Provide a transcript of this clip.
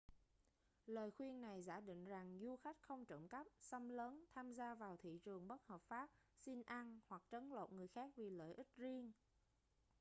lời khuyên này giả định rằng du khách không trộm cắp xâm lấn tham gia vào thị trường bất hợp pháp xin ăn hoặc trấn lột người khác vì lợi ích riêng